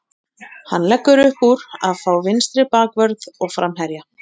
Hann leggur uppúr að fá vinstri bakvörð og framherja.